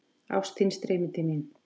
Ást þín streymir til mín.